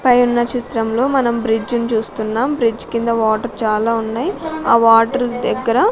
పై ఉన్న చిత్రంలో మనం బ్రిడ్జిన్ చూస్తున్నాం బ్రిడ్జ్ కింద వాటర్ చాలా ఉన్నయ్ ఆ వాటర్ దెగ్గర--